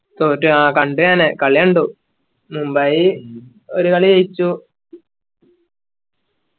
തോറ്റു അഹ് കണ്ട് ഞാന് കളി കണ്ടു മുംബൈ ഒരു കളി ജയിച്ചു